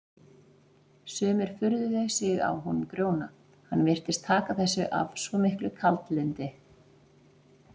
Sumir furðuðu sig á honum Grjóna, hann virtist taka þessu af svo miklu kaldlyndi.